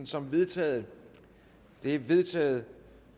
som vedtaget det er vedtaget